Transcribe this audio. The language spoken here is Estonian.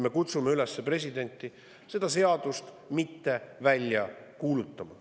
Me kutsume presidenti üles seda seadust mitte välja kuulutama.